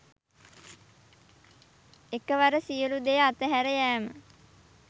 එකවර සියලු දෙය අතහැර යෑම